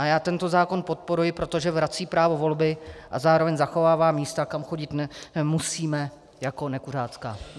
A já tento zákon podporuji, protože vrací právo volby a zároveň zachovává místa, kam chodit nemusíme, jako nekuřácká.